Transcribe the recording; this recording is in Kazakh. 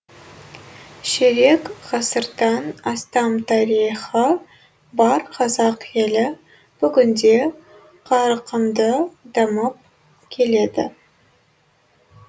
ширек ғасырдан астам тарихы бар қазақ елі бүгінде қарқынды дамып келеді